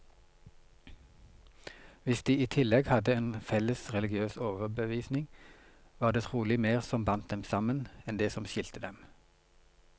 Hvis de i tillegg hadde en felles religiøs overbevisning, var det trolig mer som bandt dem sammen, enn det som skilte dem.